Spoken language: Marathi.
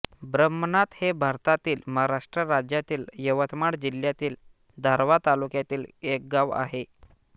ब्रह्मनाथ हे भारतातील महाराष्ट्र राज्यातील यवतमाळ जिल्ह्यातील दारव्हा तालुक्यातील एक गाव आहे